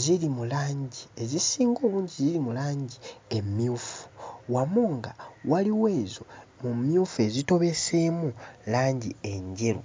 ziri mu langi ezisinga obungi ziri mu langi emmyufu wamu nga waliwo ezo mu mmyufu ezitobeseemu langi enjeru.